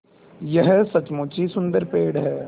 यह सचमुच ही सुन्दर पेड़ है